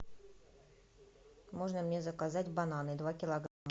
можно мне заказать бананы два килограмма